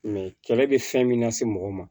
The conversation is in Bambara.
kɛlɛ bɛ fɛn min lase mɔgɔ ma